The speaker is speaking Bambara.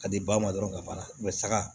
Ka di ba ma dɔrɔn ka ban saga